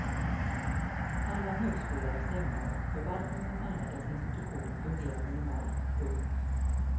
Alla högskolor är stängda och förvaltningen med alla dess institutioner fungerar minimalt. punkt